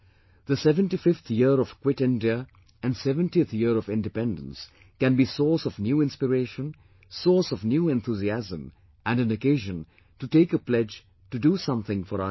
The 75th year of Quit India and 70th year of Independence can be source of new inspiration, source of new enthusiasm and an occasion to take a pledge to do something for our nation